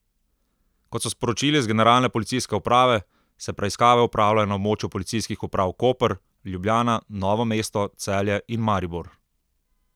Kot so sporočili z Generalne policijske uprave, se preiskave opravljajo na območju policijskih uprav Koper, Ljubljana, Novo mesto, Celje in Maribor.